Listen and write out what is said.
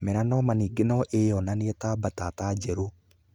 Melanoma ningĩ no ĩyonanie ta mbatata njerũ.